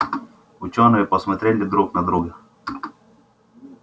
учёные посмотрели друг на друга